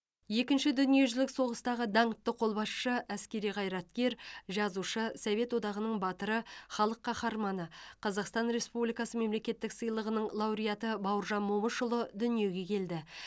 екінші дүниежүзілік соғыстағы даңқты қолбасшы әскери қайраткер жазушы совет одағының батыры халық қаһарманы қазақстан республикасы мемлекеттік сыйлығының лауреаты бауыржан момышұлы дүниеге келді